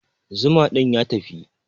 Zuma din ya tafi.